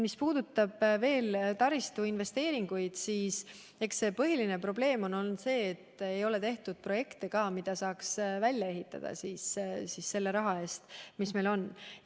Mis puudutab veel taristuinvesteeringuid, siis üks põhiline probleem on ka see, et ei ole tehtud projekte, mida saaks välja ehitada selle raha eest, mis meil on.